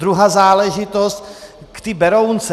Druhá záležitost, k té Berounce.